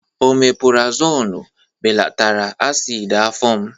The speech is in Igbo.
Omepurazonu belatara asidi afọ m.